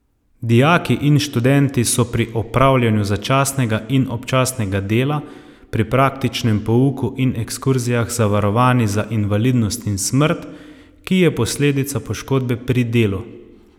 Dijaki in študenti so pri opravljanju začasnega in občasnega dela, pri praktičnem pouku in ekskurzijah zavarovani za invalidnost in smrt, ki je posledica poškodbe pri delu.